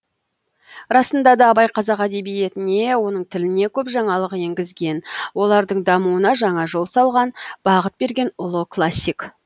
расында да абай қазақ әдебиетіне оның тіліне көп жаңалық енгізген олардың дамуына жаңа жол салған бағыт берген ұлы классик